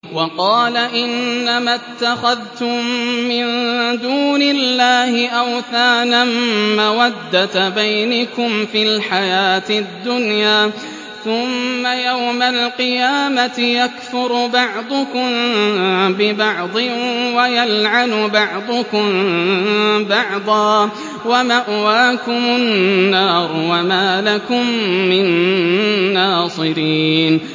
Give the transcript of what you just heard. وَقَالَ إِنَّمَا اتَّخَذْتُم مِّن دُونِ اللَّهِ أَوْثَانًا مَّوَدَّةَ بَيْنِكُمْ فِي الْحَيَاةِ الدُّنْيَا ۖ ثُمَّ يَوْمَ الْقِيَامَةِ يَكْفُرُ بَعْضُكُم بِبَعْضٍ وَيَلْعَنُ بَعْضُكُم بَعْضًا وَمَأْوَاكُمُ النَّارُ وَمَا لَكُم مِّن نَّاصِرِينَ